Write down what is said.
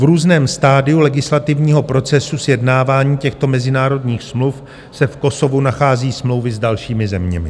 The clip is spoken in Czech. V různém stadiu legislativního procesu sjednávání těchto mezinárodních smluv se v Kosovu nachází smlouvy s dalšími zeměmi.